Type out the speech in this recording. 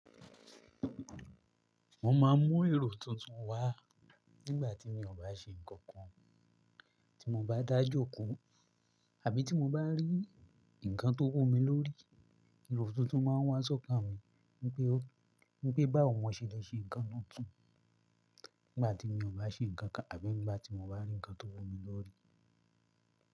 Mo ma ń mú èrò tuntun wá nígbà tí mí ò bá ṣe nǹkan kan, tí mo bá dá jóko àbí tí mo bá rí nǹkan tó wù mi lóri. Lọ tuntun ma ń wá sọ́kàn mi ní pé, ní pé, bá ò mọ sèlẹ́ ṣe nǹkan náà tuntun nígbà tí mi ò bá ṣe nǹkan kan àbí nígbà tí mo bá rí nǹkan tó wó mi lóri.